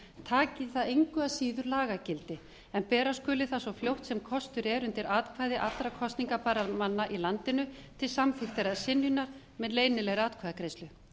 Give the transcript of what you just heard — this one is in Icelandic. taki það engu að síður lagagildi en bera skuli það svo fljótt sem kostur er undir atkvæði allra kosningarbærra manna í landinu til samþykktar eða synjunar með leynilegri atkvæðagreiðslu